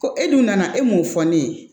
Ko e dun nana e mun fɔ ne ye